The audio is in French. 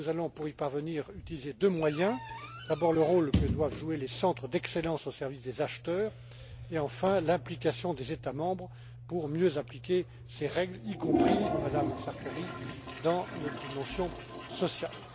Pour y parvenir, nous utiliserons deux moyens d'abord le rôle que doivent jouer les centres d'excellence au service des acheteurs et ensuite l'implication des États membres pour mieux appliquer ces règles, y compris, Madame Sartori, dans les dimensions sociales.